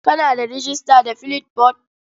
Kana da rejista da Flipboard?